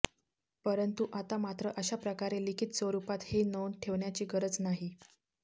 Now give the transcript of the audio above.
परंतु आता मात्र अशा प्रकारे लिखित स्वरुपात हि नोंद ठेवण्याची गरज नाही